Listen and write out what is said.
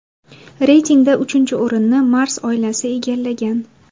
Reytingda uchinchi o‘rinni Mars oilasi egallagan.